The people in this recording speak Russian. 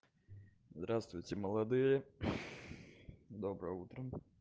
здравствуйте молодые доброе утро